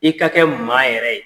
I ka kɛ maa yɛrɛ ye.